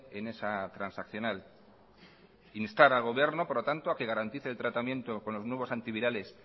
en esa transaccional instar al gobierno por lo tanto a que garantice el tratamiento con los nuevos antivirales